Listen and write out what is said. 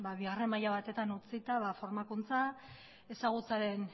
bigarren maila batetan utzita formakuntza ezagutzaren